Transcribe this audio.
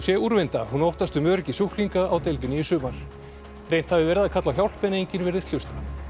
úrvinda hún óttast um öryggi sjúklinga á deildinni í sumar reynt haf verið að kalla á hjálp en enginn virðist hlusta